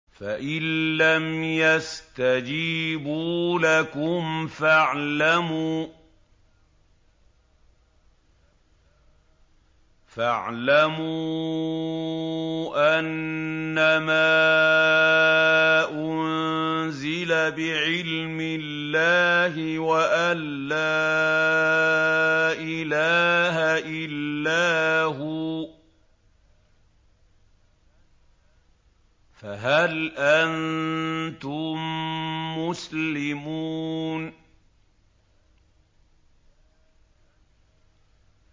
فَإِلَّمْ يَسْتَجِيبُوا لَكُمْ فَاعْلَمُوا أَنَّمَا أُنزِلَ بِعِلْمِ اللَّهِ وَأَن لَّا إِلَٰهَ إِلَّا هُوَ ۖ فَهَلْ أَنتُم مُّسْلِمُونَ